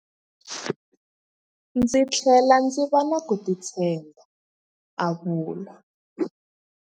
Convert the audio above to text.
Ndzi tlhele ndzi va na ku titshemba, a vula.